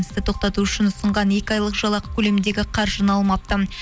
істі тоқтату үшін ұсынған екі айлық жалақы көлеміндегі қаржыны алмапты